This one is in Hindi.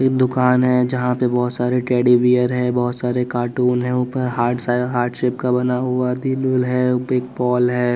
एक दुकान है जहाँ पे बहोत सारे टेडी बीयर है बहोत सारे कार्टून है ऊपर हार्ट साय हार्ट सेप का बना हुआ दिल-विल है बिग बॉल है।